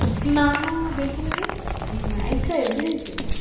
না না দেখিনি তো, night drive বেরিয়েছে?